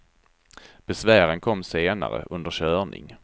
Besvären kom senare, under körning.